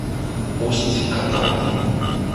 усть катавом